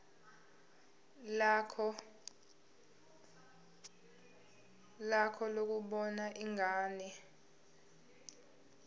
lakho lokubona ingane